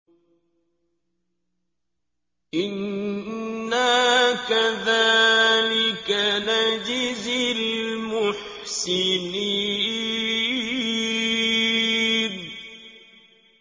إِنَّا كَذَٰلِكَ نَجْزِي الْمُحْسِنِينَ